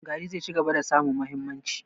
Gari zai cigaba da samun mahimmanci.